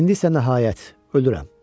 İndi isə nəhayət, ölürəm.